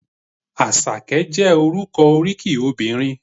Àṣàkẹ́ jẹ́ orúkọ oríkì obìnrin.